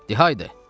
Dedi: haydı!